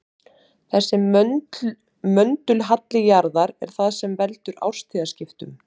þessi möndulhalli jarðar er það sem veldur árstíðaskiptum